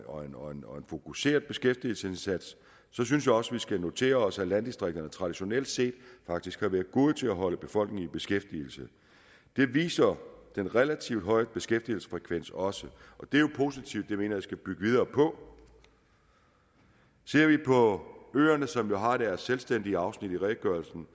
og fokuseret beskæftigelsesindsats så synes jeg også at vi skal notere os at landdistrikterne traditionelt set faktisk har været gode til at holde befolkningen i beskæftigelse det viser den relativt høje beskæftigelsesfrekvens også og det er jo positivt det mener vi skal bygge videre på ser vi på øerne som jo har fået deres selvstændige afsnit i redegørelsen